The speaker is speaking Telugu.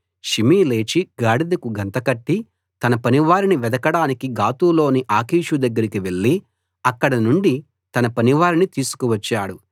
షిమీ లేచి గాడిదకు గంతకట్టి తన పనివారిని వెదకడానికి గాతులోని ఆకీషు దగ్గరకి వెళ్ళి అక్కడి నుండి తన పనివారిని తీసుకువచ్చాడు